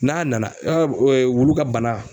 N'a nana wulu ka bana